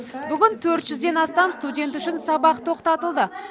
бүгін төрт жүзден астам студент үшін сабақ тоқтатылды